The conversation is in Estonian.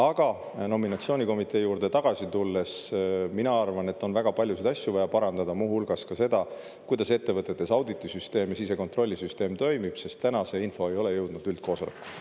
Aga kui nominatsioonikomitee juurde tagasi tulla, siis mina arvan, et on väga paljusid asju vaja parandada, muu hulgas ka seda, kuidas ettevõttetes auditisüsteem ja sisekontrollisüsteem toimib, sest konkreetselt see info ei ole jõudnud üldkoosolekuni.